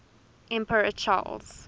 emperor charles